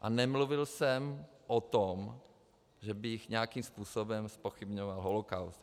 A nemluvil jsem o tom, že bych nějakým způsobem zpochybňoval holokaust.